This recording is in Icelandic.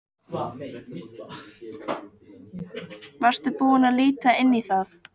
Varstu búinn að líta inn í það?